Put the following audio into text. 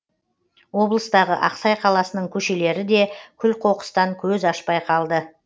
облыстағы ақсай қаласының көшелері де күл қоқыстан көз ашпай қалды